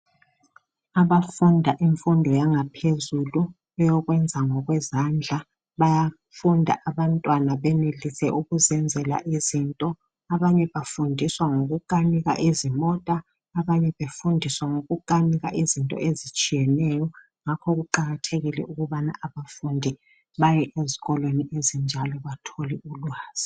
Abafunda imfundo yanga phezulu, eyokwenza ngokwezandla, bayafunda abantwana benelise okuziyenzela izinto. Abanye bafundiswa ngokukanika izimota, abanye befundiswe ngokukanika izinto ezitshiyeneyo. Ngakho kuqakathekile ukubana abafundi baye ezikolweni ezinjalo. bathole ulwazi.